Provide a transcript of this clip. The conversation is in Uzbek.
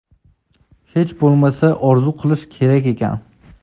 hech bo‘lmasa orzu qilish kerak ekan.